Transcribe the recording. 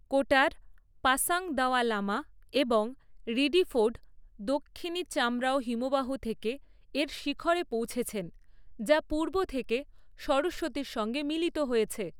কোটার, পাসাং দাওয়া লামা এবং রিডিফোর্ড, দক্ষিণী চামরাও হিমবাহ থেকে এর শিখরে পৌঁছেছেন যা পূর্ব থেকে সরস্বতীর সঙ্গে মিলিত হয়েছে।